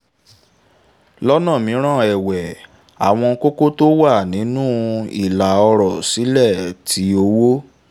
lọ́nà mìíràn ẹ̀wẹ̀ àwọn kókó tó wà nínú ìlà ọ̀rọ̀ sílè ti owó